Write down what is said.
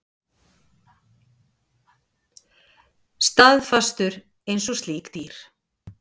Staðfastur einsog slík dýr.